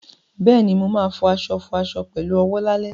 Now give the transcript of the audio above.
Bẹ́ẹ̀ni, mo ma fọ aṣọ fọ aṣọ pẹ̀lú owó lálẹ́